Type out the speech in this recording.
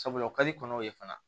Sabula o ka di kɔnɔw ye fana